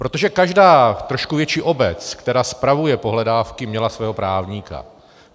Protože každá trošku větší obec, která spravuje pohledávky, měla svého právníka.